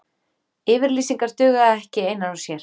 Yfirlýsingar duga ekki einar og sér.